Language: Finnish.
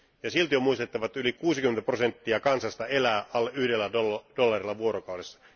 Silti on muistettava, että yli 60 prosenttia kansasta elää alle yhdellä dollarilla vuorokaudessa.